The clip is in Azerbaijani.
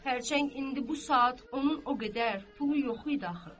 xərçəng indi bu saat onun o qədər pulu yox idi axı.